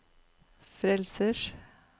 frelsers